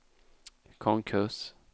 konkurs